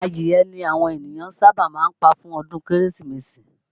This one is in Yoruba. Adìye ni àwọn ènìyàn sábà máa ń pa fún ọdún Kérésìmesì